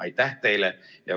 Aitäh teile!